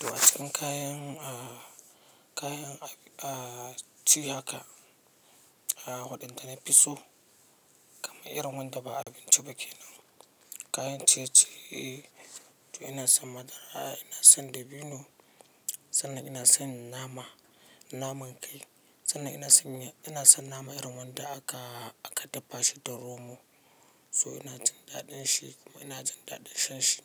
To su kayan ci haka, haɗin da na fi so kamar irin wanda ba abinci ba kenan. Kayan ciye-ciye to ina son madara, ina son dabino, sannan ina son nama, naman kai. Sannan ina son nama irin wanda, aka dafa shi da romo. To ina jin daɗin shi, kuma ina jin daɗin shanshi